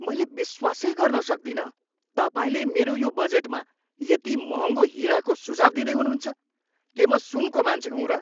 मैले विश्वासै गर्न सक्दिनँ तपाईँले मेरो यो बजेटमा यति महँगो हिराको सुझाउ दिँदै हुनुहुन्छ! के म सुनको मान्छे हुँ र?